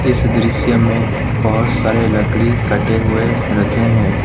इस दृश्य में बहुत सारे लकड़ी कटे हुए रखे हैं।